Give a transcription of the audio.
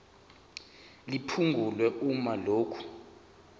liphungulwe uma lokhu